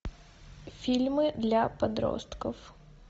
фильмы для подростков